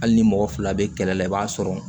Hali ni mɔgɔ fila bɛ kɛlɛ la i b'a sɔrɔ